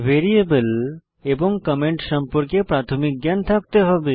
variable এবং comment সম্পর্কে প্রাথমিক জ্ঞান থাকতে হবে